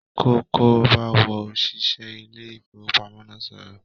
kọ́kọ́ b'áwọn oṣiṣẹ ilé ifowopamọ náà sọrọ!